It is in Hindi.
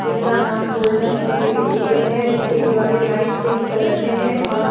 जिसका नाम गोल्डन पब्लिक स्कूल हैं इसके दीवारें लाइट पिंक कलर में हैं और --